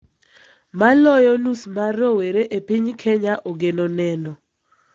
Maloyo nus mar rowere e piny Kenya ogeno neno